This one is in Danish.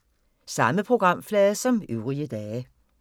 Samme programflade som øvrige dage